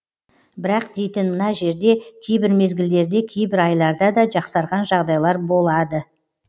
бірақ дейтін мына жерде кейбір мезгілдерде кейбір айларда да жақсарған жағдайлар болтта